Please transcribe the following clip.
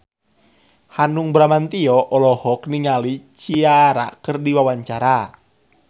Hanung Bramantyo olohok ningali Ciara keur diwawancara